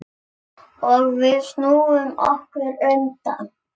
Og við snúum okkur undan.